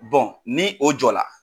ni o jɔ la.